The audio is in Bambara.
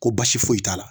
Ko baasi foyi t'a la